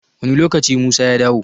Wani lokaci musa ya dawo?